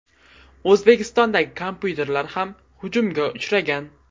O‘zbekistondagi kompyuterlar ham hujumga uchragan.